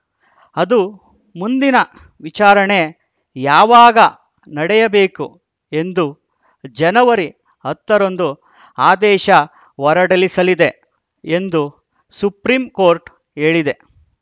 ಅದು ಮುಂದಿನ ವಿಚಾರಣೆ ಯಾವಾಗ ನಡೆಯಬೇಕು ಎಂದು ಜನವರಿ ಹತ್ತರಂದು ಆದೇಶ ಹೊರಡಿಸಲಿದೆ ಎಂದು ಸುಪ್ರೀಂ ಕೋರ್ಟ್‌ ಹೇಳಿದೆ